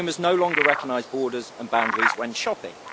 Consumers no longer recognise borders and boundaries when shopping.